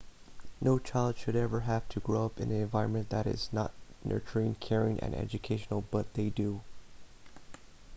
no child should ever have to grow up in an environment that is not nurturing caring and educational but they do